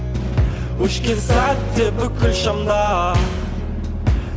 өшкен сәтте бүкіл шамдар